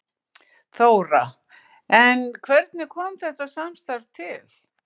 Þóra: En hvernig kom þetta samstarf til?